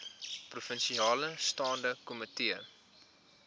provinsiale staande komitee